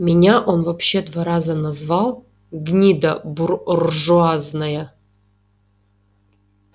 меня он вообще два раза назвал гнида бур-ржуазная